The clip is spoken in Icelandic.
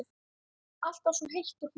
Alltaf svo heit og hlý.